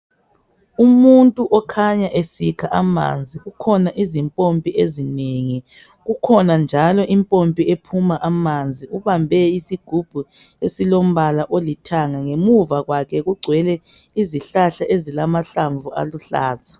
Umuntu okhanya esikha amanzi kukhona izimpompi ezinengi, kukhona njalo impompi ephuma amanzi. Ubambe isigubhu esilombala olithanga ngemuva kwakhe kugcwele izihlahla ezilamahlamvu aluhlaza.